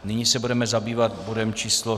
Nyní se budeme zabývat bodem číslo